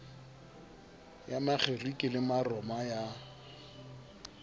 ya makgerike le maroma ya